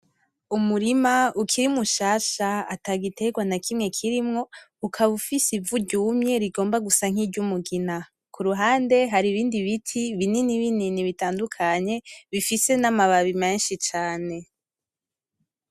Umurima ukiri mushasha ata giterwa na kimwe kirimwo, ukaba ufise ivu ryumye rigomba gusa nk'iryumugina, kuruhande hari ibindi biti binini binini bitandukanye bifise n'amababi menshi cane.